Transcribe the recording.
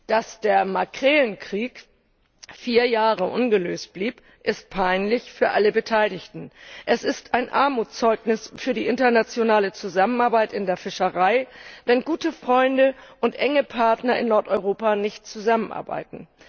Dass der Makrelenkrieg vier Jahre ungelöst blieb, ist peinlich für alle Beteiligten. Es ist ein Armutszeugnis für die internationale Zusammenarbeit in der Fischerei, wenn gute Freunde und enge Partner in Nordeuropa nicht zusammenarbeiten.